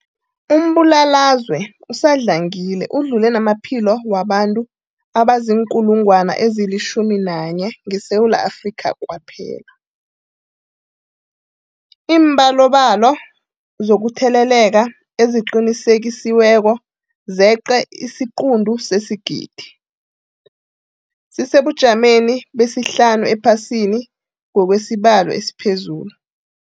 Umbulalazwe usadlangile udlule namaphilo wabantu abaziinkulungwana ezi-11 ngeSewula Afrika kwaphela. Iimbalobalo zokutheleleka eziqinisekisiweko zeqe isiquntu sesigidi, sisesebujameni besihlanu ephasini ngokwesibalo esiphezulu.